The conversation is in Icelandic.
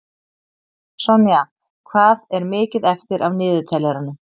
Sonja, hvað er mikið eftir af niðurteljaranum?